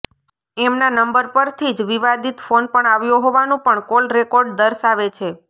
એમના નંબર પરથી જ વિવાદિત ફોન પણ આવ્યો હોવાનું પણ કોલ રેકોર્ડ દર્શાવે છે